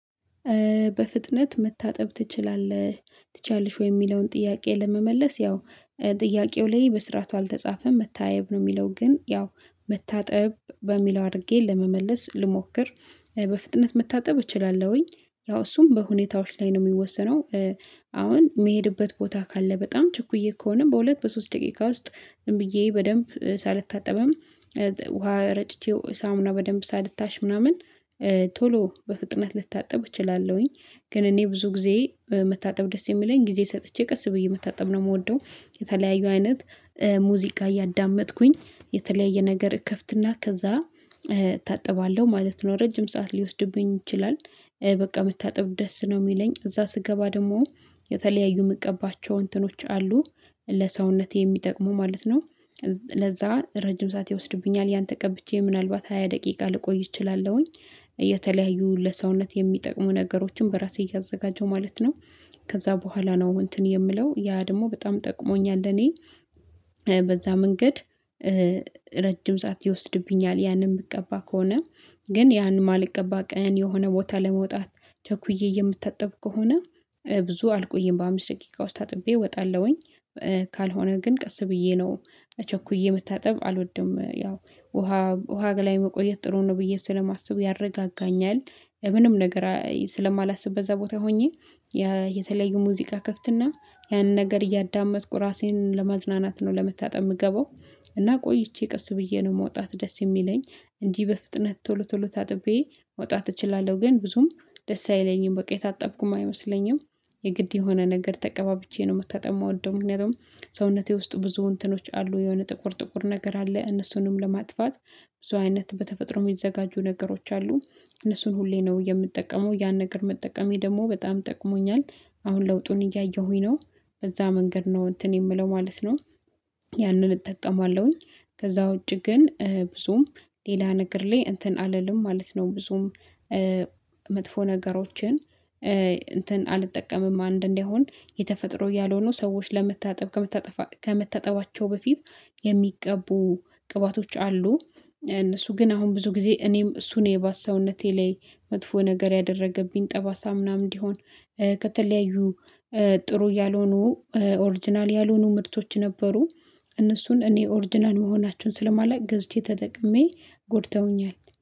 በፍጥነት መታጠብ ትችላለህ ትችያለሽ ወይ የሚለውን ጥያቄ ለመመለስ ያው ጥያቄው ላይ በስርዓቱ አልተጻፈም መታየብ ነው የሚለው ግን ያው መታጠብ በሚለው አድርጌ ለመመለስ ልሞክር። በፍጥነት መታጠብ እችላለሁኝ ያው እሱም በሁኔታዎች ላይ ነው የሚወሰነው። አሁን የሚሄድበት ቦታ ካለ በጣም ችኩዬ ከሆነ በሁለት በሶስት ደቂቃ ውስጥ ዝም ብዬ በደንብ ሳልታጠብም ውሃ ረጭቼው ሳሙና በደንብ ሳልታሽ ምናምን ቶሎ በፍጥነት ልታጠብ እችላለሁኝ። ግን እኔ ብዙ ጊዜ መታጠብ ደስ የሚለኝ ጊዜ ሰጥቼ ቀስ ብዬ መታጠብ ነው የምወደው። የተለያዩ አይነት ሙዚቃ እያዳመጥኩኝ የተለያየ ነገር እከፍትና ከዛ እታጠባለሁ ማለት ነው ረጅም ሰዓት ሊወስድብኝ ይችላል። በቃ መታጠብ ደስ ነው የሚለኝ እዛ ስገባ ደግሞ የተለያዩ ምቀባቸው እንትኖች አሉ ለሰውነቴ የሚጠቅሙ ማለት ነው። ለዛ ረጅም ሰዓት ይወስድብኛል ያን ተቀብቼ ምናልባት ሃያ ደቂቃ ልቆይ እችላለሁኝ። የተለያዩ ለሰውነት የሚጠቅሙ ነገሮችን በራሴ እያዘጋጀው ማለት ነው። ከዛ በኋላ ነው እንትን የምለው ያ ደግሞ በጣም ጠቅሞኛል እኔ በዛ መንገድ ረጅም ሰዓት ይወስድብኛል ያንን የምትቀባ ከሆነ። ግን ያንን ማልቀባ ቀን የሆነ ቦታ ለመውጣት ቸኩዬ የምታጠብ ከሆነ ብዙ አልቆይም በአምስት ደቂቃ ውስጥ ታጥቤ እወጣለሁኝ። ካልሆነ ግን ቀስ ብዬ ነው ቸኩዬ መታጠብ አልወድም ያው ውሃ ጋር ላይ መቆየት ጥሩ ነው ብዬ ስለማስብ ያረጋጋኛል። ምንም ነገር ስለማላስብ በዛ ቦታ ሆኜ የተለየ ሙዚቃ ክፍትና ያንን ነገር እያዳመጥኩ ራሴን ለማዝናናት ነው ለመታጠብ የምገባው። እና ቆይቼ ቀስ ብዬ ነው መውጣት ደስ የሚለኝ እንጂ በፍጥነት ቶሎ ቶሎ ታጥቤ መውጣት እችላለሁ ግን ብዙም ደስ አይለኝም በቃ የታጠብኩም አይመስለኝም። የግድ የሆነ ነገር ተቀባብቼ ነው የምታጠማው ምክንያቱም ሰውነቴ ውስጥ ብዙ እንትኖች አሉ የሆነ ጥቁር ጥቁር ነገር አለ እነሱንም ለማጥፋት ብዙ አይነት በተፈጥሮ የሚዘጋጁ ነገሮች አሉ እነሱን ሁሌ ነው የምጠቀመው ያን ነገር መጠቀሜ ደግሞ በጣም ጠቅሞኛል። አሁን ለውጡን እያየሁኝ ነው በዛ መንገድ ነው እንትን የምለው ማለት ነው። ያንን እጠቀማለሁኝ ከዛ ውጪ ግን ብዙም ሌላ ነገር ላይ እንትን አልልም ማለት ነው። ብዙም መጥፎ ነገሮችን እንትን አልጠቀምም አንድ እንደሆን የተፈጥሮ እያልሆነ ሰዎች ለመታጠብ ከመታጠባቸው በፊት የሚቀቡ ቅባቶች አሉ እነሱ ግን አሁን ብዙ ጊዜ እኔም እሱን የባስ ሰውነቴ ላይ መጥፎ ነገር ያደረገብኝ ጠባሳ ምናምን እንዲሆን ከተለያዩ ጥሩ ያልሆኑ ኦሪጅናል ያልሆኑ ምርቶች ነበሩ እነሱን እኔ ኦርዲናል መሆናቸውን ስለማላውቅ ገዝቼ ተጠቅሜ ጎድተውኛል